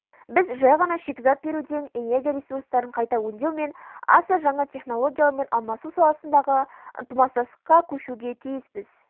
біз жай ғана шикізат беруден энергия ресурстарын қайта өңдеу мен аса жаңа технологиялармен алмасу саласындағы ынтымақтастыққа көшуге тиіспіз